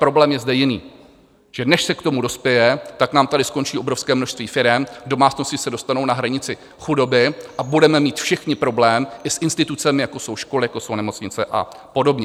Problém je zde jiný: že než se k tomu dospěje, tak nám tady skončí obrovské množství firem, domácnosti se dostanou na hranici chudoby a budeme mít všichni problém i s institucemi, jako jsou školy, jako jsou nemocnice a podobně.